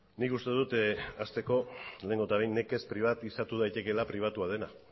nik uste dut hasteko lehenengo eta behin nekez pribatizatu daitekela pribatua dena